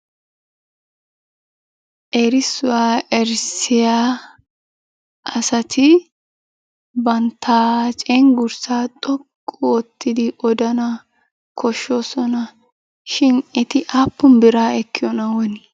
Erissuwa erissiya asati bantta cenggurssaa xoqqu oottidi odana koshshosona. Shin eti aappun biraa ekkiyonaa woni?